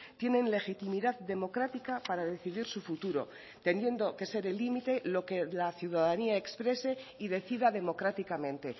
tienen legitimidad democrática para decidir su futuro teniendo que ser el límite lo que la ciudadanía exprese y decida democráticamente